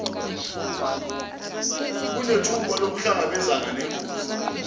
kunethuba lokuhlangabezana nengozi